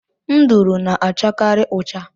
Nduru na- achakari ụcha.